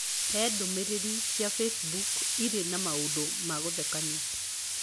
Hee ndũmĩrĩri cia Facebook irĩ na maũndũ ma gũthekania